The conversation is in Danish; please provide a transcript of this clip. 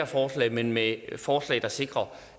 forslag men med forslag der sikrer